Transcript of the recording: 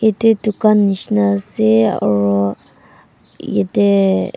yadae tukan nishina asae aroo yadaeee.